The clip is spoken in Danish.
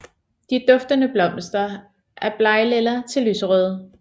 De duftende blomster er blegtlilla til lyserøde